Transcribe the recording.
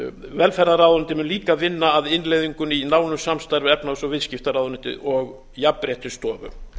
velferðarráðuneytið mun líka vinna að innleiðingunni í nánu samstarfi við efnahags og viðskiptaráðuneytið og jafnréttisstofu